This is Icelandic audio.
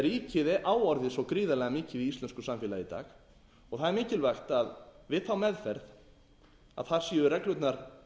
ríkið á orðið svo gríðarlega mikið í íslensku samfélagi í dag og það er mikilvægt við þá meðferð séu reglurnar